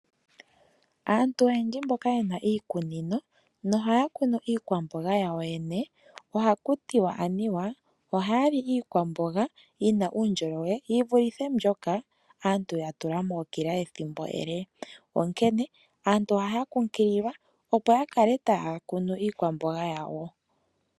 Aantu oyendji mboka ye na iikunino na ohaya kunu iikwamboga yawo yoyene, oha kutiwa anuwa ohaya li iikwamboga yi na uundjolowele yivulithe mbyoka aantu ya tula mookila ethimbo ele. Onkene aantu ohaya kumagidhwa opo ya kale ta ya kunu iikwamboga yawo.